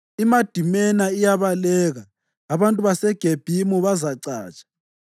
IMadimena iyabaleka; abantu baseGebhimu bazacatsha.